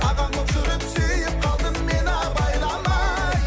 ағаң болып жүріп сүйіп қалдым мен абайламай